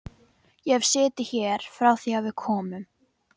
Ég hef setið hér frá því að við komum.